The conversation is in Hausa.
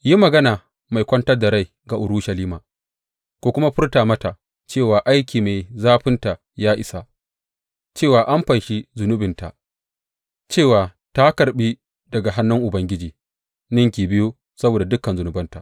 Yi magana mai kwantar da rai ga Urushalima, ku kuma furta mata cewa aiki mai zafinta ya isa, cewa an fanshi zunubinta, cewa ta karɓi daga hannun Ubangiji ninki biyu saboda dukan zunubanta.